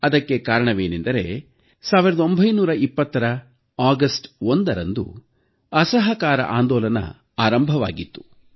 ಅದಕ್ಕೆ ಕಾರಣವೇನೆಂದರೆ 1920ರ ಆಗಸ್ಟ್ 1ರಂದು ಅಸಹಕಾರ ಆಂದೋಲನ ಆರಂಭವಾಗಿತ್ತು